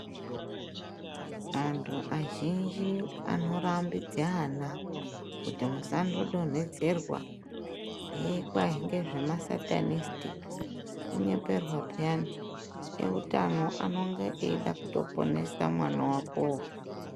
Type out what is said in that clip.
Vantu vazhinji anorambidze ana kuti musanodonhodzerwa hee kwai ngezve ma satanist kunyeperwa peyani eutano anonge aida kutoponesa mwana wakowo